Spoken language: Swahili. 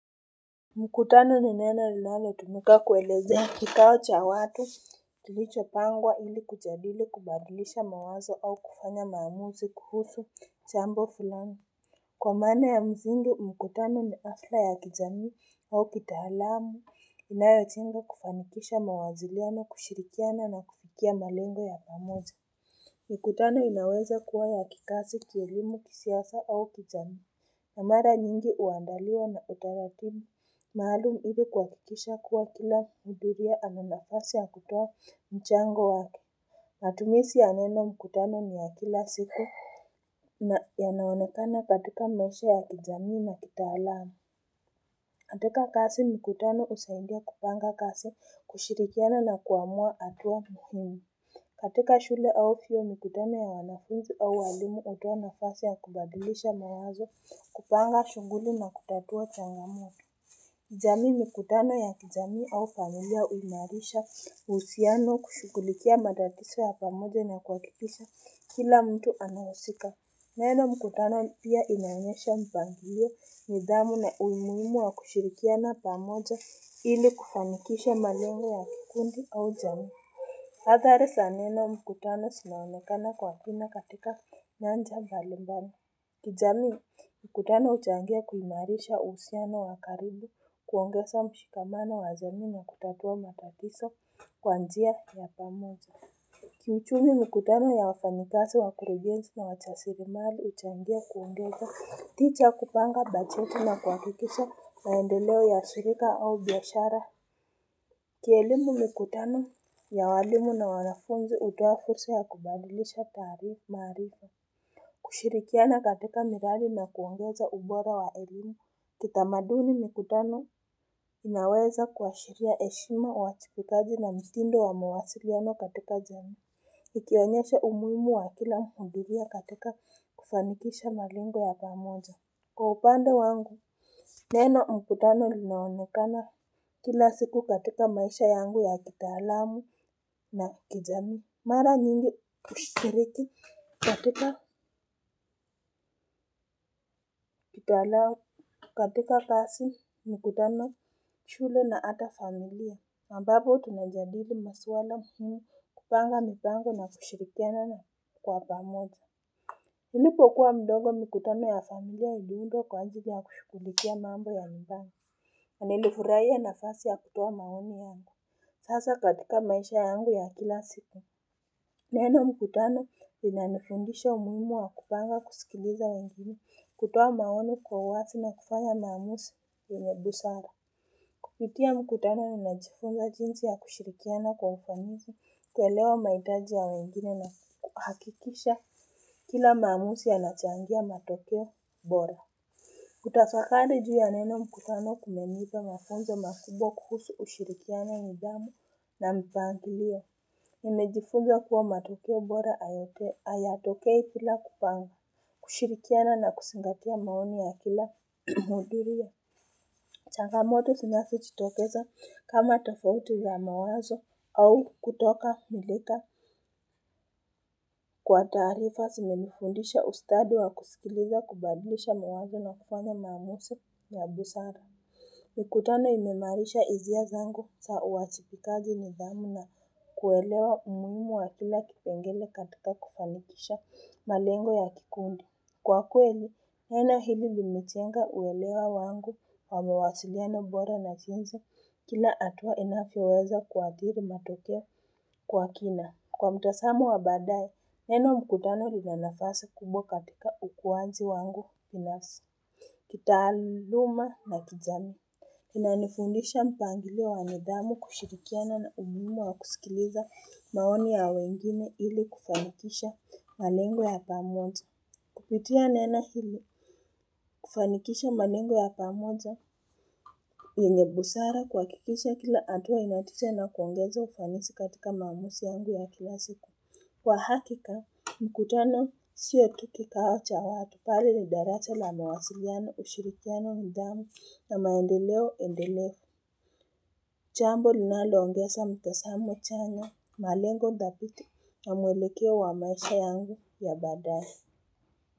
Mkutano ni neno linalotumika kuelezea kikao cha watu kilicho pangwa ili kujadili kubadlisha mawazo au kufanya maamuzi kuhusu chambo fulani. Kwa maana ya msingi mkutano ni hafla ya kijamii au kitaalamu inayojengwa kufanikisha mawasiliano kushirikiana na kufikia malengo ya pamoja. Mkutano inaweza kuwa ya kikazi kielimu kisiasa au kijamii. Na mara nyingi huandaliwa na utaratibu maalum ili kuhakikisha kuwa kila muhudhuria ana nafasi ya kutoa mchango wake. Matumisi ya neno mkutano ni ya kila siku. Na yanaonekana katika maisha ya kijamii na kitalaamu. Katika kazi mkutano husaidia kupanga kazi kushirikiana na kuamua hatua muhimu. Katika shule au vyuo mikutano ya wanafunzi au walimu hutoa nafasi ya kubadilisha mawazo kupanga shughuli na kutatua changamoto. Jamii mikutana ya kijamii au familia huimarisha uhusiano kushughulikia matatizo ya pamoja na kuhakikisha kila mtu anawasika. Neno mkutana pia inaosha mpangilio nidhamu na umuhimu wa kushirikiana pamoja ili kufanikisha malengo ya kikundi au jamii. Adhari za neno mkutano zinaonekana kwa kina katika nyanja mbali mbali. Kijamii, mkutano huchangia kuimarisha uhusiano wa karibu kuongeza mshikamano wa jamii na kutatua matatizo kwa njia ya pamoja. Kiuchumi mikutano ya wafanyikazi wakurugenzi na warasilimali huchangia kuongeza tija ya kupanga bajeti na kuhakikisha maendeleo ya shirika au biashara. Kielimu mikutano ya walimu na wanafunzi hutoa fursa ya kubadilisha taarifa. Kushirikiana katika miradi na kuongeza ubora wa elimu. Kitamaduni mikutano inaweza kuashiria heshima uwajibikaji na mtindo wa mawasiliano katika jamii. Ikionyesha umuhimu wa kila mhudhuria katika kufanikisha malengo ya pamoja. Kwa upanda wangu, neno mkutano linaonekana, kila siku katika maisha yangu ya kitalamu na kijamii, mara nyingi kushiriki katika kitaalamu katika kazi mkutano, shule na hata familia ambapo tunajadili maswala muhimu kupanga mpango na kushirikiana kwa pamoja. Nilipokwa mdogo mikutano ya familia iliundwa kwa ajili ya kushughulikia mambo ya mpango. Nilifurahia nafasi ya kutoa maoni yangu. Sasa katika maisha yangu ya kila siku. Neno mkutano linanifundisha umuhimu wa kupanga kusikiliza wengine kutoa maoni kwa uwasi na kufanya maamuzi yenye busara. Kupitia mkutano unajifunza jinsi ya kushirikiana kwa ufanisi kuelewa mahitaji ya wengine nahakikisha kila maamuzi yanachangia matokeo bora. Kutafakari juu ya neno mkutano kumenipa mafunzo makubwa kuhusu ushirikiano nidhamu na mpangilio. Nimejifunza kuwa matokeo bora hayatokei bila kupanga, kushirikiana na kuzingatia maoni ya kila muhudhurao. Changamoto zinazojitokeza kama tofauti ya mawazo au kutokamilika kwa taarifa zimenifundisha ustadi wa kusikiliza kubadlisha mawazo na kufanya maamuzi ya busara. Mkutano imeimarisha hisia zangu za uwajibikaji nidhamu na kuelewa umuhimu wa kila kipengele katika kufanikisha malengo ya kikundi. Kwa kweli neno hili limejenga uelewa wangu wa mawasiliana bora na jinsi kila hatua inavyoweza kuadhiri matokea kwa kina. Kwa mtazamo wa baadaye, neno mkutano lina nafasi kubwa katika ukuwaji wangu binafsi. Kitaaluma na kijamii. Inanifundisha mpangilio wa nidhamu kushirikiana na umimu wa kusikiliza maoni ya wengine ili kufanikisha malengo ya pamoja. Kupitia neno hili kufanikisha manengo ya pamoja yenye busara kuhakikisha kila hatua ina tija na kuongeza ufanisi katika maamuzi yangu ya kila siku. Kwa hakika, mkutano siyo tu kikao cha watu bali ni daraja la mawasiliano ushirikiano nidhamu ya maendeleo endelevu. Jambo linaloongeza mtazamo chanya malengo dhabiti na mwelekeo wa maisha yangu ya baadaye.